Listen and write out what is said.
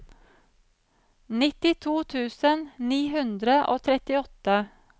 nittito tusen ni hundre og trettiåtte